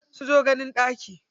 Sun zo ganin ɗaki.